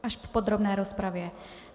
Až v podrobné rozpravě.